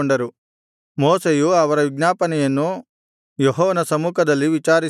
ಮೋಶೆಯು ಅವರ ವಿಜ್ಞಾಪನೆಯನ್ನು ಯೆಹೋವನ ಸಮ್ಮುಖದಲ್ಲಿ ವಿಚಾರಿಸಿದನು